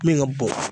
Min ka bon